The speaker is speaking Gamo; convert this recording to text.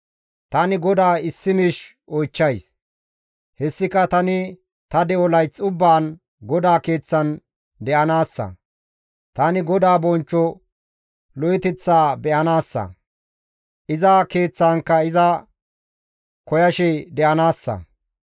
Tani GODAA issi miish oychchays; hessika tani ta de7o layth ubbaan GODAA keeththan de7anaassa; tani GODAA bonchcho lo7oteththa be7anaassa; iza Keeththankka iza koyashe de7anaassa.